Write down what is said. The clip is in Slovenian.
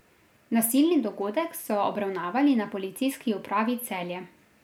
Nasilni dogodek so obravnavali na Policijski upravi Celje.